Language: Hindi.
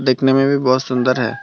देखने में भी बहुत सुंदर है।